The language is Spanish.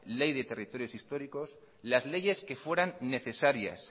ley de territorios históricos las leyes que fueran necesarias